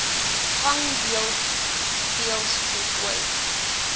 gang deels voltooid